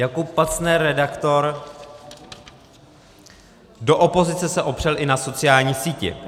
Jakub Pacner, redaktor: Do opozice se opřel i na sociální síti.